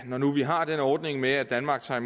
når nu vi har den ordning med at danmark tager